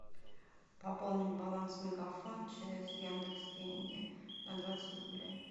пополнить баланс мегафон через яндекс деньги на двадцать рублей